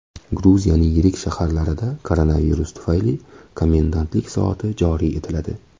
Gruziyaning yirik shaharlarida koronavirus tufayli komendantlik soati joriy etiladi.